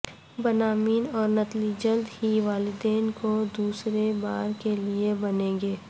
بنامین اور نتلی جلد ہی والدین کو دوسرے بار کے لئے بنیں گے